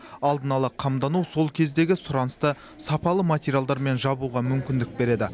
алдын ала қамдану сол кездегі сұранысты сапалы материалдармен жабуға мүмкіндік береді